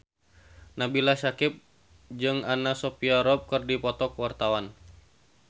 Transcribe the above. Nabila Syakieb jeung Anna Sophia Robb keur dipoto ku wartawan